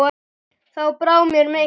Þá brá mér mikið